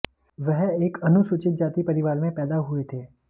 वह एक अनुसूचित जाति परिवार में पैदा हुए थे